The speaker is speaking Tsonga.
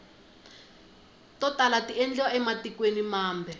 to tala tiendliwa ematikweni mambe